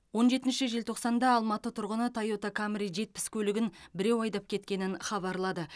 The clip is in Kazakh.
он жетінші желтоқсанда алматы тұрғыны тойота камри жетпіс көлігін біреу айдап кеткенін хабарлады